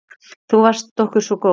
Þú varst okkur svo góð.